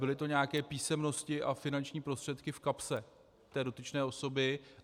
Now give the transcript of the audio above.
Byly to nějaké písemnosti a finanční prostředky v kapse té dotyčné osoby.